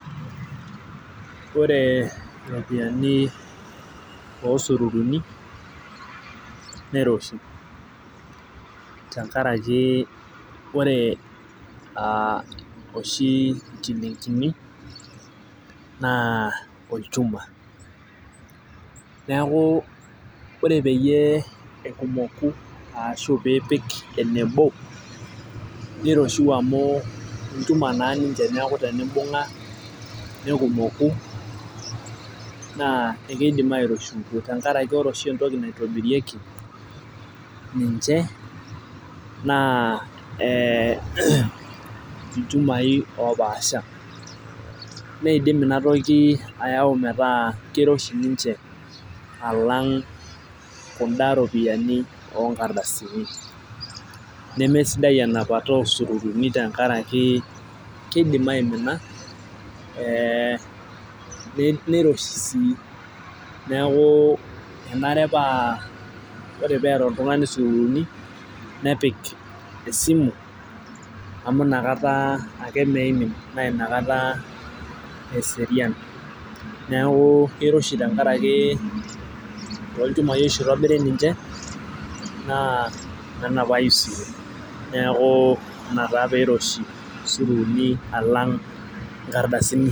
koree peeyie iroshi iropiyiani ooo sururuni tengaraki ahh koree oshii inchilingini' naa olchuma niakuu koree peyiee arashio pipik eneboo niroshiu amu olchuma naa ninche niakuu tenibunga nikumoku nidim airoshiuto tengaraki koree oshii entoki naitobirieki ninche naa. ilchumai oopaashaa neidim inatoki ayauu meetaa kiroshi ninche alaang kuda ropiyiani ooonkardasini nemee sidai enapata ooo sururuni tengaraki keidim aimina. niroshii sii niaku kenare naaa koree eaata oltungani esurruni nepik esimu amuu nakata ake emimini naa inakata esirian niaku kiroshi oshii tengaraki ilchumai ohh itobirieki ninche niaku ina oshii peeyie iroshi sururuni.